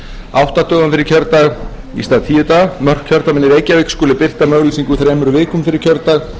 átta dögum fyrir kjördag í stað tíu mörk kjördæmanna í reykjavík skuli birta með auglýsingu þremur vikum fyrir kjördag